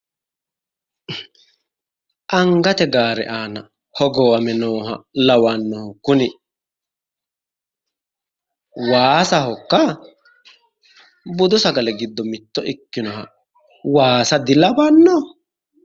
Angate gaare aana hogowame nooha lawannohu kuni waasahokka? Budu sagale giddo mitto ikkinoha waasa di lawanno?